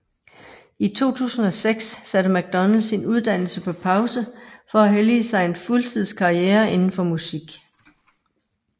I 2006 satte McDonald sin uddannelse på pause for at hellige sig en fuldtids karriere inden for musik